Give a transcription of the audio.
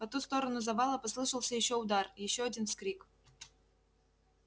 по ту сторону завала послышался ещё удар ещё один вскрик